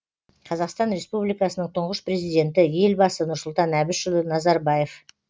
қазақстан республикасының тұңғыш президенті елбасы нұрсұлтан әбішұлы назарбаев